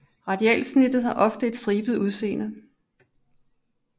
Radialsnittet har ofte et stribet udseende